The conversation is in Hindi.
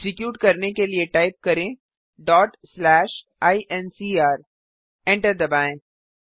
एक्जीक्यूट करने के लिए टाइप करें incr एंटर दबाएँ